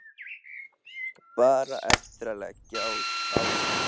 Bara eftir að leggja á þá.